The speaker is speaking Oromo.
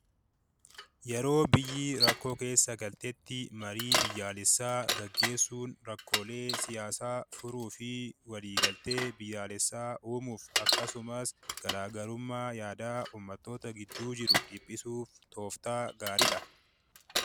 Yeroo biyyi rakkoo keessa galtetti marii biyyaalessaa gaggeessuun rakkoolee siyaasaa furuu fi waliigaltee biyaalessaa uumuuf akkasumas garaa garummaa yaadaa uummattoota gidduu jiru dhiphisuuf tooftaa gaariidha.